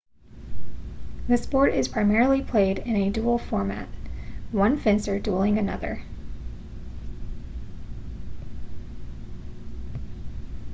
the sport is primarily played in a duel format one fencer dueling another